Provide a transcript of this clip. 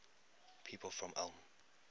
people from ulm